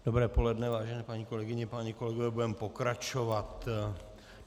Dobré poledne, vážené paní kolegyně, páni kolegové, budeme pokračovat.